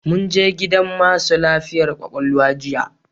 Mun je gidan masu lafiyar kwakwalwa jiya